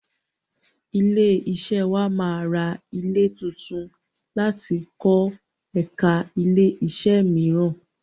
Ilé-iṣẹ́ wà máa ra ilẹ̀ tuntun láti kọ ẹ̀ka ilẹ́-iṣẹ́ mìíràn.